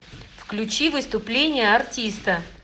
включи выступление артиста